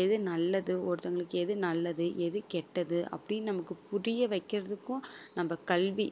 எது நல்லது ஒருத்தவங்களுக்கு எது நல்லது எது கெட்டது அப்படின்னு நமக்கு புரிய வைக்கிறதுக்கும் நம்ம கல்வி